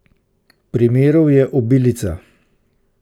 Primerov je obilica.